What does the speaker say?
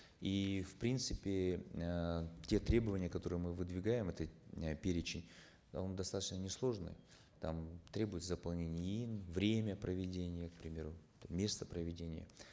и в принципе э те требования которые мы выдвигаем это э перечень он достаточно несложный там требует заполнение иин время проведения к примеру место проведения